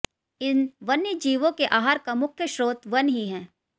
इन वन्य जीवों के आहार का मुख्य स्रोत वन ही हैं